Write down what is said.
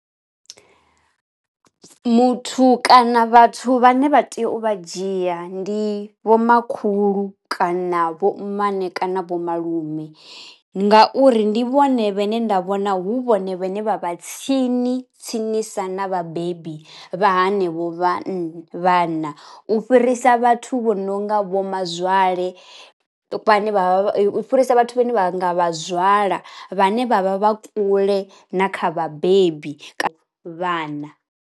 Muthu kana vhathu vhane vha tea u vha dzhia ndi vhomakhulu kana vho mmane kana vho malume. Ngauri ndi vhone vhane nda vhona hu vhone vhane vha vha tsini tsinisa na vhabebi vha hanevho vhanna vhana, u fhirisa vhathu vho no nga vho mazwale vhane vha u fhirisa vhathu vhane vha nga vhazwala vhane vha vha vha kule na kha vhabebi ka vhana.